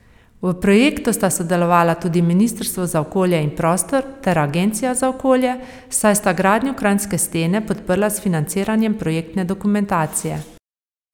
V projektu sta sodelovala tudi ministrstvo za okolje in prostor ter Agencija za okolje, saj sta gradnjo kranjske stene podprla s financiranjem projektne dokumentacije.